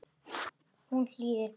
Hún hlýðir pabba.